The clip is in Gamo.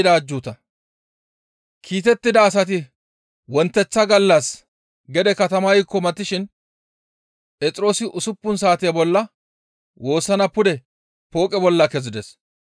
Kiitettida asati wonteththa gallas gede katamaykko matishin Phexroosi usuppun saate bolla woossana pude Pooqe bolla kezides.